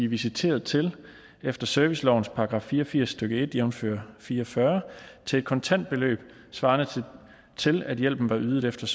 visiteret til efter servicelovens § fire og firs stykke en jævnfør fire og fyrre til et kontantbeløb svarende til at hjælpen var ydet efter